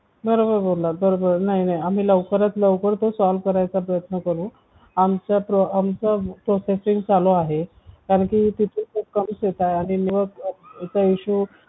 बरोबर बोललात बरोबर नाही नाही आम्ही लवकरात लवकर ते solve करायचा प्रयत्न करू आमच्या processing चालू आहे कारण की खूप कमी network आहे ते त्याचा issue